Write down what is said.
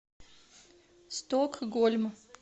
стокгольм